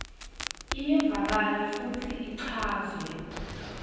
iyevakala futsi ichazwe